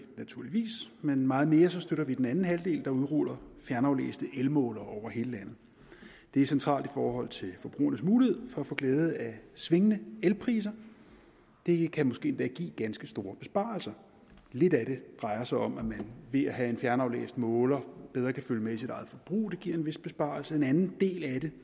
naturligvis men meget mere støtter vi den anden halvdel der udruller fjernaflæste elmålere over hele landet det er centralt i forhold til forbrugernes mulighed for at få glæde af svingende elpriser det kan måske endda give ganske store besparelser lidt af det drejer sig om at man ved at have en fjernaflæst måler bedre kan følge med i sit eget forbrug og giver en vis besparelse en anden del af det